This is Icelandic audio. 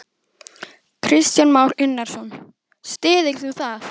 Kristján Már Unnarsson: Styður þú það?